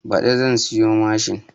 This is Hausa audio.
Baɗi zan siya mashin